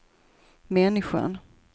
människan